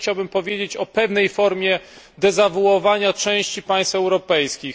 Ja też chciałbym powiedzieć o pewnej formie dezawuowania części państw europejskich.